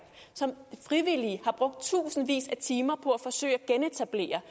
som frivillige har brugt tusindvis af timer på at forsøge at genetablere